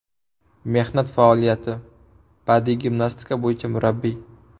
Mehnat faoliyati: Badiiy gimnastika bo‘yicha murabbiy.